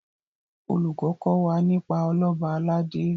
olùkó kò wá nípa Ọlọba aládé